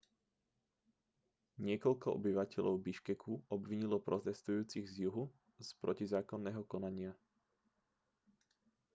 niekoľko obyvateľov biškeku obvinilo protestujúcich z juhu z protizákonného konania